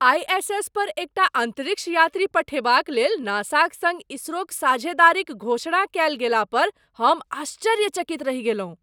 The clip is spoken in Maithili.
आइ.एस.एस. पर एकटा अंतरिक्ष यात्री पठेबाक लेल नासाक सङ्ग इसरोक साझेदारीक घोषणा कएल गेला पर हम आश्चर्यचकित रहि गेलहुँ!